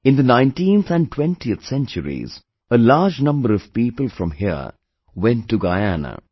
In the 19th and 20th centuries, a large number of people from here went to Guyana